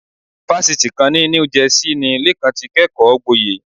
Fásitì kan ní New Jersey ni Lékan ti kẹ́kọ̀ọ́gboyè.